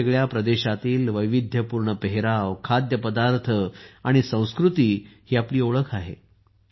वेगवेगळ्या प्रदेशातील वैविध्यपूर्ण पेहराव खाद्यपदार्थ आणि संस्कृती ही आपली ओळख आहे